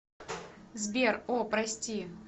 сбер о прости